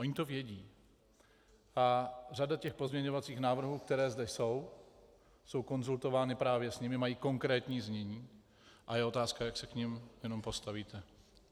Ony to vědí a řada těch pozměňovacích návrhů, které zde jsou, je konzultována právě s nimi, mají konkrétní znění a je otázka, jak se k nim jenom postavíte.